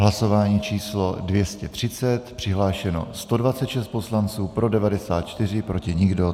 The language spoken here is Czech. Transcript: Hlasování číslo 230, přihlášeno 126 poslanců, pro 94, proti nikdo.